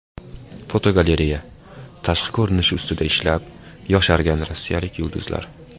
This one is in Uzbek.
Fotogalereya: Tashqi ko‘rinishi ustida ishlab, yoshargan rossiyalik yulduzlar.